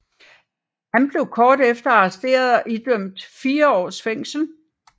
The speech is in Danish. Han blev kort efter arresteret og idømt fire års fængsel